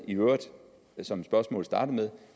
som spørgsmålet startede